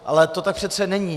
Ale to tak přece není.